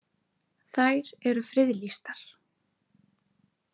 Þær eru friðlýstar.